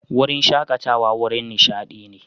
Wurin shakatawa wurin nishadi ne.